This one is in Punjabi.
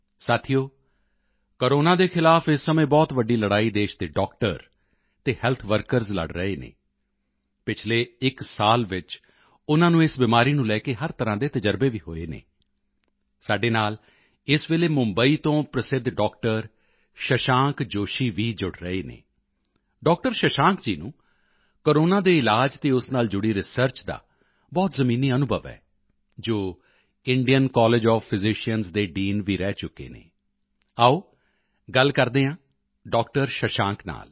ਸਾਥੀਓ ਕੋਰੋਨਾ ਦੇ ਖ਼ਿਲਾਫ਼ ਇਸ ਸਮੇਂ ਬਹੁਤ ਵੱਡੀ ਲੜਾਈ ਦੇਸ਼ ਦੇ ਡਾਕਟਰ ਅਤੇ ਹੈਲਥ ਵਰਕਰਜ਼ ਲੜ ਰਹੇ ਹਨ ਪਿਛਲੇ ਇੱਕ ਸਾਲ ਵਿੱਚ ਉਨ੍ਹਾਂ ਨੂੰ ਇਸ ਬਿਮਾਰੀ ਨੂੰ ਲੈ ਕੇ ਹਰ ਤਰ੍ਹਾਂ ਦੇ ਤਜ਼ਰਬੇ ਵੀ ਹੋਏ ਹਨ ਸਾਡੇ ਨਾਲ ਇਸ ਵੇਲੇ ਮੁੰਬਈ ਤੋਂ ਪ੍ਰਸਿੱਧ ਡਾਕਟਰ ਸ਼ਸ਼ਾਂਕ ਜੋਸ਼ੀ ਵੀ ਜੁੜ ਰਹੇ ਹਨ ਡਾਕਟਰ ਸ਼ਸ਼ਾਂਕ ਜੀ ਨੂੰ ਕੋਰੋਨਾ ਦੇ ਇਲਾਜ ਅਤੇ ਉਸ ਨਾਲ ਜੁੜੀ ਰਿਸਰਚ ਦਾ ਬਹੁਤ ਜ਼ਮੀਨੀ ਅਨੁਭਵ ਹੈ ਜੋ ਇੰਡੀਅਨ ਕਾਲੇਜ ਓਐਫ ਫਿਜ਼ੀਸ਼ੀਅਨਜ਼ ਦੇ ਡੀਨ ਵੀ ਰਹਿ ਚੁੱਕੇ ਹਨ ਆਓ ਗੱਲ ਕਰਦੇ ਹਾਂ ਡਾਕਟਰ ਸ਼ਸ਼ਾਂਕ ਨਾਲ